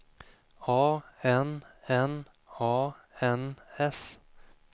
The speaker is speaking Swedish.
A N N A N S